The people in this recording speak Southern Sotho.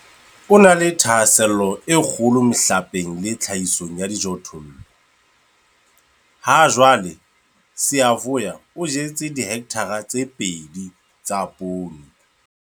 O na le thahasello e kgolo mehlapeng le tlhahisong ya dijothollo. Hajwale Siyavuya o jetse dihekthara tse 2 tsa poone.